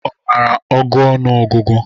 Ọ mara agụ ọnụ ọgụgụ?